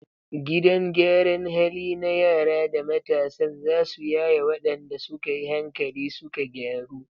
Gidan gyaran hali na yara da matasan zasu yaye wadanda suka yi hankali suka gyaru